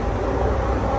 Lə iləhə illəllah.